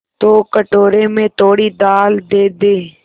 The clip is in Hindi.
तो कटोरे में थोड़ी दाल दे दे